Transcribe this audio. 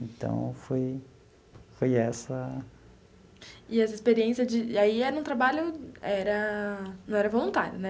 Então, foi foi essa... E essa experiência de... aí era um trabalho... era... não era voluntário, né?